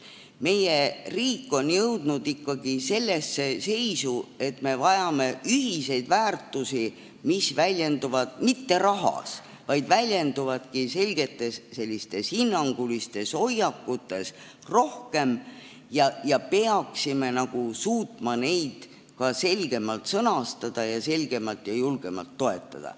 Meie riik on jõudnud ikkagi sellesse seisu, et me vajame ühiseid väärtusi, mis väljenduvad mitte rahas, vaid rohkem selgetes hinnangulistes hoiakutes, ja me peaksime suutma neid ka selgemalt sõnastada ning selgemalt ja julgemalt toetada.